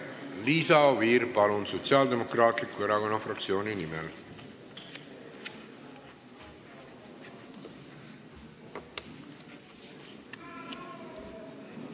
Liisa Oviir, palun, Sotsiaaldemokraatliku Erakonna fraktsiooni nimel!